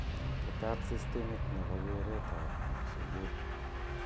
Tetat sistimit nebo keret ab sukuul.